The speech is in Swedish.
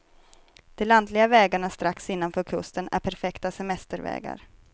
De lantliga vägarna strax innanför kusten är perfekta semestervägar.